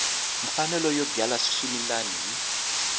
mfanelo yo byala swimila hi